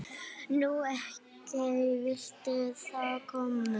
Nú, ókei, viltu þá kókaín?